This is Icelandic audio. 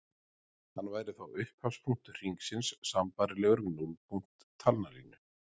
Hann væri þá upphafspunktur hringsins sambærilegur við núllpunkt talnalínu.